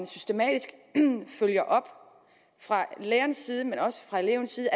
systematisk op fra lærernes side men også fra elevens side